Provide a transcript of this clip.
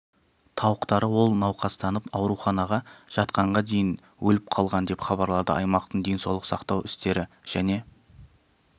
тауықтары ол науқастанып ауруханаға жатқанға дейін өліп қалған деп хабарлады аймақтың денсаулық сақтау істері және